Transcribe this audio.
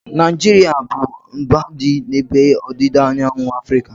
Naijiria abụ mba dị n'ebe ọdịda anyanwụ Afrịka?